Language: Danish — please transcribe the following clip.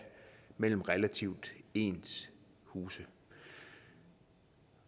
mellem relativt ens huse